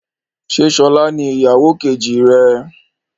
Ṣé sọlá ni ìyàwó kejì rẹ?